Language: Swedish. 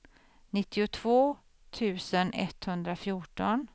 nittiotvå tusen etthundrafjorton